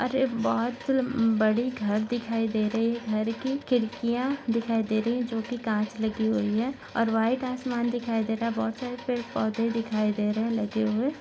अरे बहुत बड़ी घर दिखाई दे रही है घर की खिड्किया दे रही है जो की काछ लगी हुई है और व्हाइट आसमान दिखाई दे रही है बहुत सारे पेड़-पौधे दिखाई दे रहे है लेटे हुए।